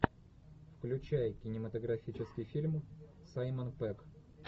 включай кинематографический фильм саймон пегг